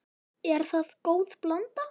Er það góð blanda.